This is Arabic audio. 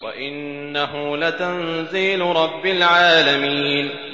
وَإِنَّهُ لَتَنزِيلُ رَبِّ الْعَالَمِينَ